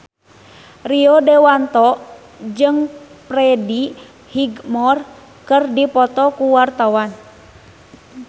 Rio Dewanto jeung Freddie Highmore keur dipoto ku wartawan